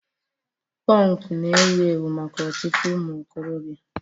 Punk na-ewu ewu maka ọtụtụ ụmụ okorobịa